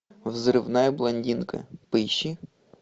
взрывная блондинка поищи